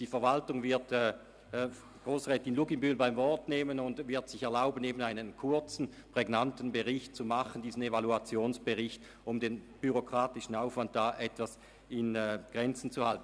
Die Verwaltung wird Grossrätin Luginbühl beim Wort nehmen und sich erlauben, einen kurzen und prägnanten Evaluationsbericht zu erstellen, um den bürokratischen Aufwand in Grenzen zu halten.